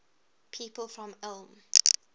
people from ulm